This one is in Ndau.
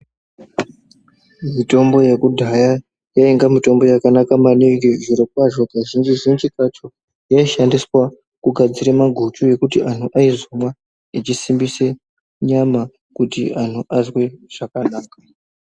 Mitombo yekudhaya yainga mitombo yakanaka maningi mazvirokwazvo, Kazhinji-zhinji kacho yaishandiswa kugadzira maguchu ekuti antu aizonwa echisimbisa nyama kuti antu azwe zvakanaka.